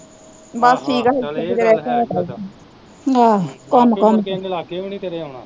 ਆਹੋ ਆਹੋ ਚੱਲ ਏਹ ਗੱਲ ਹੈ ਈ ਓਦਾ ਬਾਕੀ ਮੁੜ ਕੇ ਇਹਨੇ ਲਾਗੇ ਵੀ ਨੀ ਤੇਰੇ ਆਉਣਾ